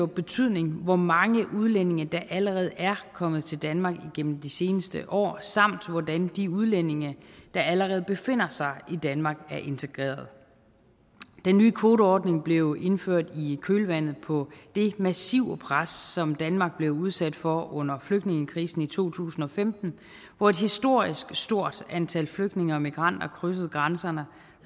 betydning hvor mange udlændinge der allerede er kommet til danmark igennem de seneste år samt hvordan de udlændinge der allerede befinder sig i danmark er integreret den nye kvoteordning blev indført i kølvandet på det massive pres som danmark blev udsat for under flygtningekrisen i to tusind og femten hvor et historisk stort antal flygtninge og migranter krydsede grænserne